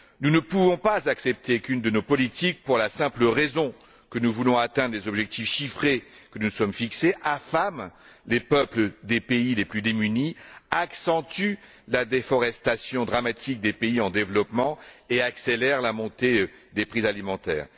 Nous ne pouvons pas accepter qu'une de nos politiques pour la simple raison que nous voulons atteindre des objectifs chiffrés que nous nous sommes fixés affame les peuples des pays les plus démunis, accentue la déforestation dramatique des pays en développement et accélère la montée des prix alimentaires.